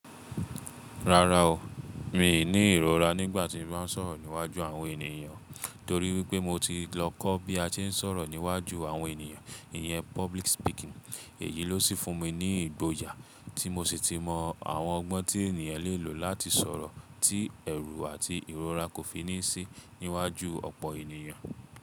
Rárá o, mi ò ní ìrora nígbà tí ńba sọ̀rọ̀ níwájú àwọn ènìyàn, torí wípé mo ti lọ kọ́ bí a tí ń sọ̀rọ̀ níwájú àwọn ènìyàn, ìyẹn public speaking. Èyí ló sì fún mi ní ìgboyà tí mo sì ti mọ àwọn ọgbọ́n tí ènìyàn lè lò láti sọ̀rọ̀ tí ẹ̀rù àti ìrora kò fi ní sí níwájú ọ̀pọ̀ ènìyàn.